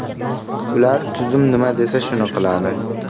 Ular tuzum nima desa shuni qiladi.